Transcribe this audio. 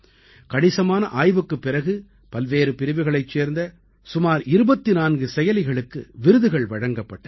கணிசமான ஆய்வுக்குப் பிறகு பல்வேறு பிரிவுகளைச் சேர்ந்த சுமார் 24 செயலிகளுக்கு விருதுகள் வழங்கப்பட்டன